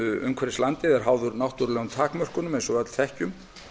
umhverfis landið er háður náttúrulegum takmörkunum eins og við öll þekkjum